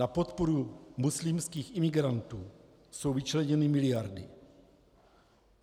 Na podporu muslimským imigrantů jsou vyčleněny miliardy.